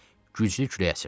Güclü külək əsirdi.